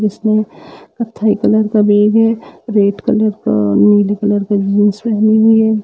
जिसमे कत्थई कलर का बैग है। रेड कलर का नीले कलर का जीन्स पहने हुई है।